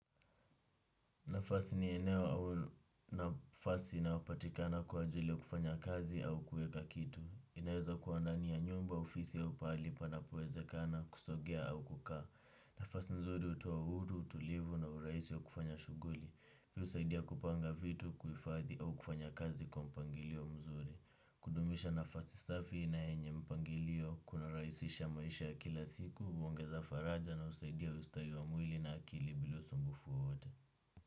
Nafasi ni eneo au nafasi na upatikana kwa ajili ya kufanya kazi au kueka kitu. Inaeza kuwa ndani ya nyumba ofisi au pali panapo wezekana kusogea au kukaa. Nafasi nzuri utowa uhuru, utulivu na uraisi wa kufanya shuguli. Vyo usaidia kupanga vitu kuifaadhi au kufanya kazi kwa mpangilio mzuri. Kudumisha nafasi safi na enye mpangilio kuna raisisha ya maisha kila siku, uongeza faraja na usaidia ustawi wa mwili na akili bila usumbufu wowote.